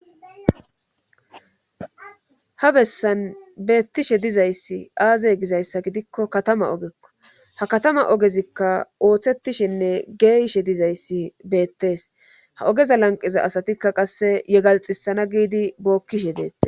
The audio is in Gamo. Ha bessan beettishe dizayssi aazey gizayssa gidikko katama ogekko ha katama ogezikka ooththettishinne geeyishe dizayssi beettees ha ogeza lanqiza asatikka qasse yegalxisana giidi bookkishe deetta.